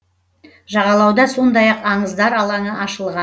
жағалауда сондай ақ аңыздар алаңы ашылған